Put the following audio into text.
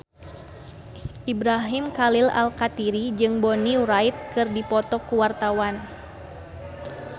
Ibrahim Khalil Alkatiri jeung Bonnie Wright keur dipoto ku wartawan